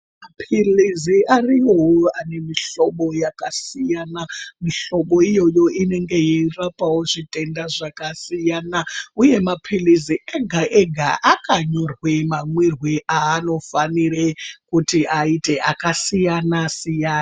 Mapilizi irimwo ari muhlombo yakasiyana mihlobo iyoyo inenge yeirapa wo zvitenda zvakasiyana uye mapilizi ega ega akanyorwe mamwiro anofanire kuit aite akasiyana siyana.